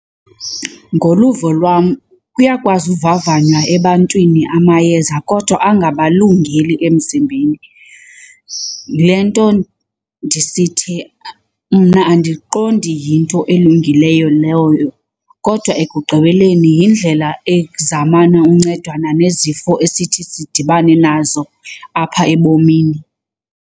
Ngoluvo lwam kuyakwazi uvavanywa ebantwini amayeza kodwa angabalungeli emzimbeni. Yile nto ndisithi mna andiqondi yinto elungileyo leyo kodwa ekugqibeleni yindlela ezamana uncedana nezifo esithi sidibane nazo apha ebomini.